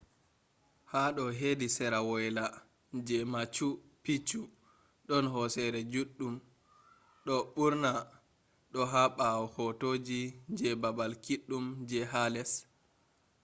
hado hedi sera woyla je machu picchu don hosere juɗɗum do ɓurna do ha ɓawo hotoji je baabal kiɗɗum je ha les